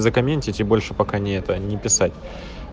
закоментить и больше пока не это не писать